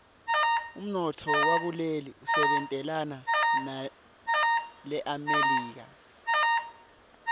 umnotfo wakuleli usebentelana nelemelika